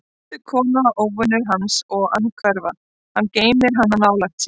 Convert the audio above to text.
Voldug kona, óvinur hans og andhverfa: hann geymir hana nálægt sér.